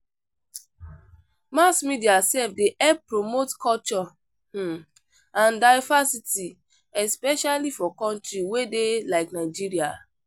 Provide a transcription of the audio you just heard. Mass media sef dey help promote culture um and diversity especially for country wey dey like Nigeria.